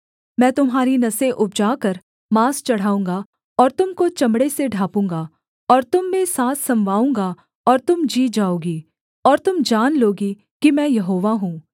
मैं तुम्हारी नसें उपजाकर माँस चढ़ाऊँगा और तुम को चमड़े से ढाँपूँगा और तुम में साँस समवाऊँगा और तुम जी जाओगी और तुम जान लोगी कि मैं यहोवा हूँ